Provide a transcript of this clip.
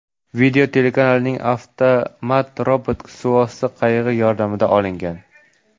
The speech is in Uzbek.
Video telekanalning avtomat-robot suvosti qayig‘i yordamida olingan.